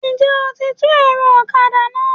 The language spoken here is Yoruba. N jẹ́ o ti tú ẹ̀rọ ọ̀kadà náà?